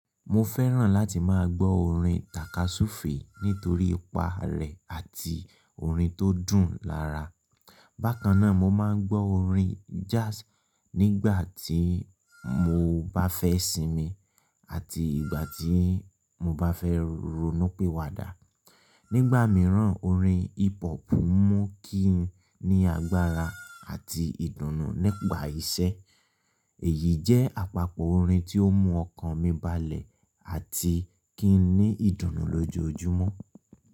Mo fẹ́ràn láti má a gbọ́ orin tàkasúfèé nítorí ipa rẹ̀ àti orin tó dùn lára. Bákan náà, mo máa ń gbọ́ orin jazz nígbà tí mo bá fẹ́ sinmi àti ìgbà tí mo bá fẹ́ ronú pi wá dà. Nígbà míràn, orin hip hop mú kí n ní agbára àti ìdùnnú nipà iṣẹ́. Èyí jẹ́ àpapọ̀ orin ti omú ọkàn mi balẹ̀ àti kí n ní ìdùnnú lójoojúmọ́.